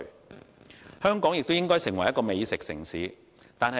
第三，香港亦應發展成為美食城市。